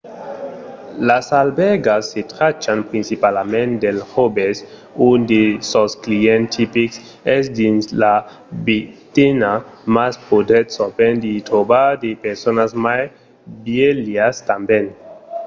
las albèrgas se trachan principalament dels joves – un de sos clients tipics es dins la vintena – mas podètz sovent i trobar de personas mai vièlhas tanben